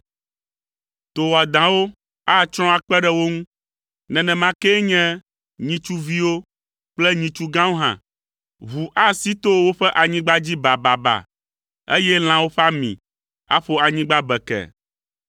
To wɔadãwo atsrɔ̃ akpe ɖe wo ŋu, nenema kee nye nyitsu viwo kple nyitsu gãwo hã. Ʋu asi to woƒe anyigba dzi bababa, eye lãwo ƒe ami aƒo anyigba bekee,